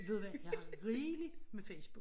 Ved du hvad jeg har rigeligt med Facebook